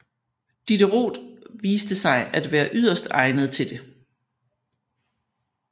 Diderot viste sig at være yderst egnet til det